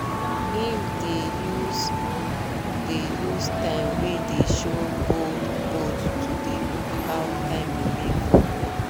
im dey use dey use time wey dey show bold bold to dey look how time remain for work